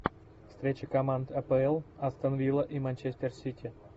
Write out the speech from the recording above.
встреча команд апл астон вилла и манчестер сити